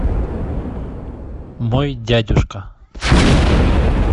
мой дядюшка